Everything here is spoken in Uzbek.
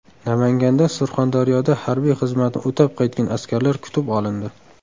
Namanganda Surxondaryoda harbiy xizmatni o‘tab qaytgan askarlar kutib olindi.